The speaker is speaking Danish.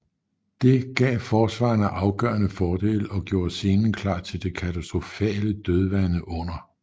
Det gav forsvarerne afgørende fordele og gjorde scenen klar til det katastrofale dødvande under 1